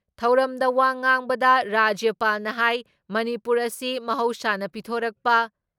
ꯊꯧꯔꯝꯗ ꯋꯥ ꯉꯥꯡꯕꯗ ꯔꯥꯖ꯭ꯌꯄꯥꯜꯅ ꯍꯥꯏ ꯃꯅꯤꯄꯨꯔ ꯑꯁꯤ ꯃꯍꯧꯁꯥꯅ ꯄꯤꯊꯣꯔꯛꯄ